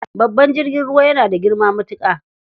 Babban jirgin ruwa yana da girma matuƙa.